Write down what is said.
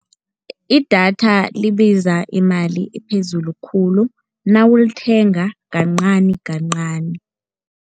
Idatha libiza imali ephezulu khulu nawulithenga kancani kancani.